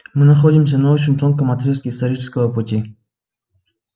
мы находимся на очень тонком отрезке исторического пути